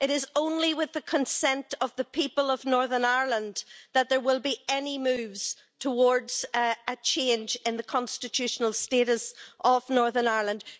It is only with the consent of the people of Northern Ireland that there will be any moves towards a change in the constitutional status of Northern Ireland.